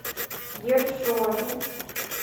ершове